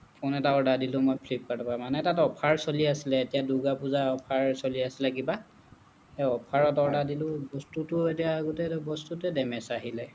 phone এটা order দিলো মই flipkart ৰ পৰা মানে তাতে offer চলি আছিলে এতিয়া দুৰ্গা পুজাৰ offer চলি আছিলে কিবা সেই offer ত order দিলো বস্তুটো এতিয়া গোটেইটো বস্তুটোৱে damage আহিলে